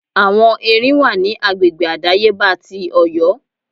Àwọn Erin wà ní agbègbè àdáyébá ti Ọ̀yọ́.